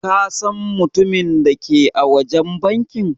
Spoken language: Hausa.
Ka San mutumin da ke a wajen banki?